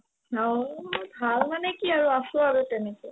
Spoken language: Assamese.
অ, ভাল মানে কি আৰু আছো আৰু তেনেকে